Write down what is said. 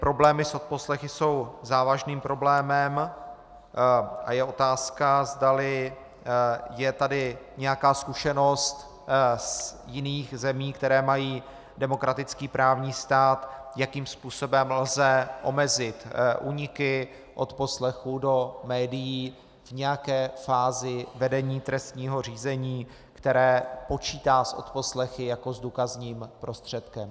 Problémy s odposlechy jsou závažným problémem a je otázka, zdali je tady nějaká zkušenost z jiných zemí, které mají demokratický právní stát, jakým způsobem lze omezit úniky odposlechů do médií v nějaké fázi vedení trestního řízení, které počítá s odposlechy jako s důkazním prostředkem.